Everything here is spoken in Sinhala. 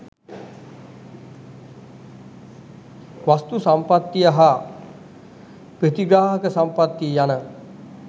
වස්තු සම්පත්තිය, හා ප්‍රථිග්‍රාහක සම්පත්තිය යන